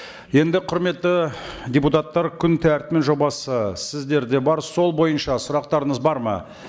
енді құрметті депутаттар күн тәртібінің жобасы сіздерде бар сол бойынша сұрақтарыңыз бар ма